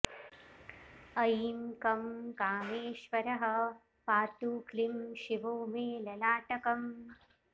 ऐँ कं कामेश्वरः पातु क्लीं शिवो मे ललाटकम्